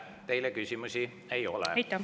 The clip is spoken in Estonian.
Teile küsimusi ei ole.